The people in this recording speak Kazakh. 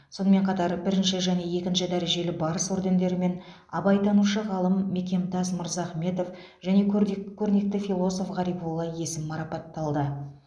сонымен қатар бірінші және екінші дәрежелі барыс ордендерімен абайтанушы ғалым мекемтас мырзахметов және көрдек көрнекті философ ғарифолла есім марапатталды